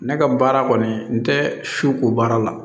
Ne ka baara kɔni n tɛ su ko baara la